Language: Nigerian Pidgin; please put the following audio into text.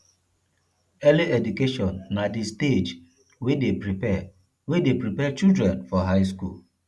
early education na di stage wey de prepare wey de prepare children for high school